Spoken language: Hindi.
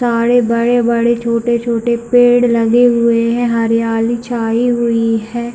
सारे बड़े-बड़े छोटे-छोटे पेड़ लगे हुए है हरियाली छाई हुई है।